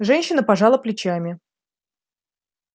женщина пожала плечами